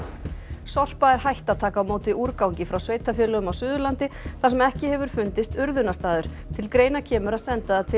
Sorpa er hætt að taka á móti úrgangi frá sveitarfélögum á Suðurlandi þar sem ekki hefur fundist urðunarstaður til greina kemur að senda það til